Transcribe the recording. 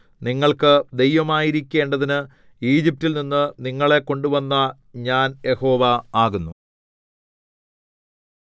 നിങ്ങൾക്ക് ദൈവമായിരിക്കേണ്ടതിനു ഈജിപ്റ്റിൽനിന്നു നിങ്ങളെ കൊണ്ടുവന്ന ഞാൻ യഹോവ ആകുന്നു